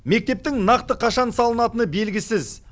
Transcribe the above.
мектептің нақты қашан салынатыны белгісіз